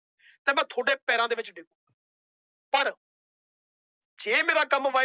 ਤੇ ਮੈਂ ਤੁਹਾਡੇ ਪੈਰਾਂ ਦੇ ਵਿੱਚ ਡਿਗੂੰ ਪਰ ਜੇ ਮੇਰਾ ਕੰਮ ਵਾਹਿ